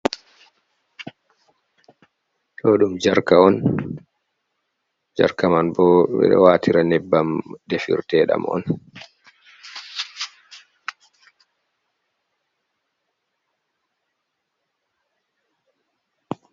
Ɗo ɗum jarka on, jarka man bo ɓe ɗo waatira nebbam defirtedam on.